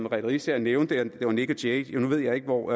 riisager nævnte nick jay nu ved jeg ikke hvor